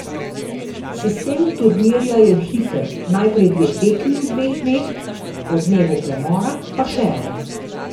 Sistem turnirja je hiter, najprej dve tekmi v dveh dneh, po dnevu premora pa še ena.